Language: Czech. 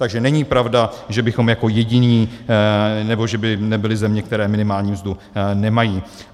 Takže není pravda, že bychom jako jediní, nebo že by nebyly země, které minimální mzdu nemají.